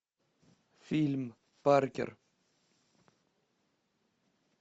фильм паркер